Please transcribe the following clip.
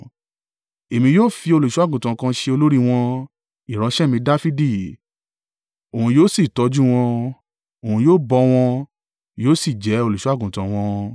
Èmi yóò fi Olùṣọ́-àgùntàn kan ṣe olórí wọn, ìránṣẹ́ mi Dafidi, òun yóò sì tọ́jú wọn; òun yóò bọ́ wọn yóò sì jẹ́ Olùṣọ́-àgùntàn wọn.